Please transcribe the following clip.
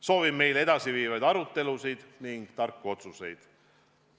Soovin meile edasiviivaid arutelusid ja tarku otsuseid!